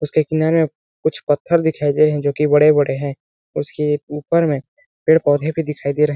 उसके किनारे में कुछ पत्थर दिखाई दे रहे है जोकि बड़े-बड़े है उसके ऊपर में पेड़ -पौधे भी दिखाई दे रहे --